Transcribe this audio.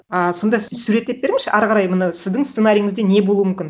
а сонда суреттеп беріңізші ары қарай міні сіздің сценарийіңізде не болу мүмкін